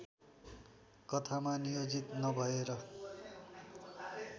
कथामा नियोजित नभएर